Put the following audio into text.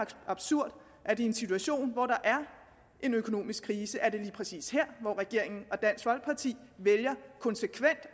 absurd at det i en situation hvor der er en økonomisk krise er lige præcis her hvor regeringen og dansk folkeparti vælger konsekvent